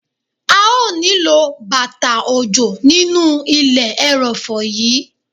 A ó nílò bàtà òjò nínú ilẹ̀ ẹrọ̀fọ̀ yí.